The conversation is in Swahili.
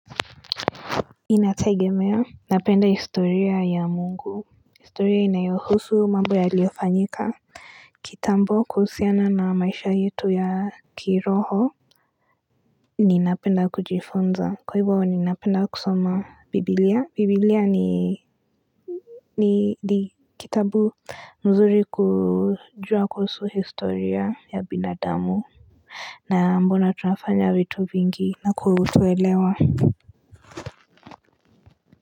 Inategemea, napenda historia ya Mungu historia inayohusu mambo yaliyofanyika kitambo kuhusiana na maisha yetu ya kiroho ninapenda kujifunza kwa hivyo ninapenda kusoma bibilia, bibilia ni ni kitabu mzuri kujua kuhusu historia ya binadamu na mbona tunafanya vitu vingi na kutuelewa.